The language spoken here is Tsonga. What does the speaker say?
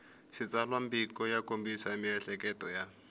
xitsalwambiko ya kombisa miehleketo ya